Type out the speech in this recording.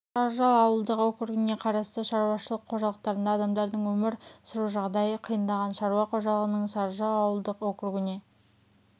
сарыжал ауылдық округіне қарасты шаруашылық қожалықтарында адамдардың өмір сүру жағдайы қиындаған шаруа қожалығының сарыжал ауылдық округіне